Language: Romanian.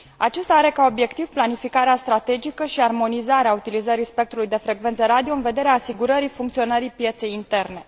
Acesta are ca obiectiv planificarea strategică și armonizarea utilizării spectrului de frecvență radio în vederea asigurării funcționării pieței interne.